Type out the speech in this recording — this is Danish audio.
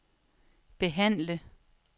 behandle